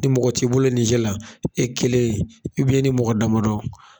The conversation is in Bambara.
Ni mɔgɔ t'i bolo nize la, e kelen i ni mɔgɔ damadɔ